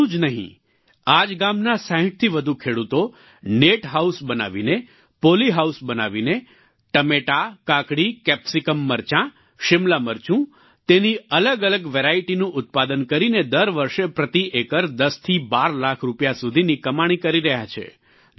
એટલું જ નહીં આ જ ગામના 60થી વધુ ખેડૂતો નેટ હાઉસ બનાવીને પોલી હાઉસ બનાવીને ટમેટા કાકડી કેપ્સિકમ મરચાંશિમલા મરચું તેની અલગઅલગ વેરાઈટીનું ઉત્પાદન કરીને દર વર્ષે પ્રતિ એકર 10 થી 12 લાખ રૂપિયા સુધીની કમાણી કરી રહ્યા છે